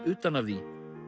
utan af því